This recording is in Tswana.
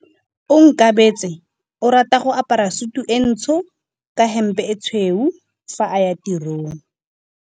Onkabetse o rata go apara sutu e ntsho ka hempe e tshweu fa a ya tirong.